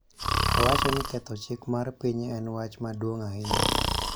Owacho ni ketho chik mar piny en wach maduong� ahinya